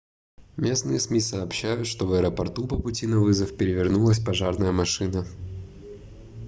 местные сми сообщают что в аэропорту по пути на вызов перевернулась пожарная машина